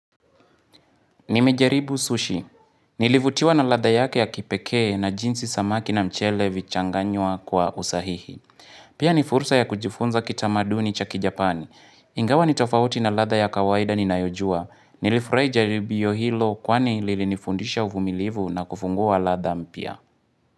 Nimejaribu sushi. Nilivutiwa na lada yake ya kipekee na jinsi samaki na mchele vichanganywa kwa usahihi. Pia ni fursa ya kujifunza kitamaduni chaki japani. Ingawa ni tofauti na ladha ya kawaida ni nayojua. Nilifurai jaribio hilo kwani lilinifundisha uvumilivu na kufungua ladha mpya.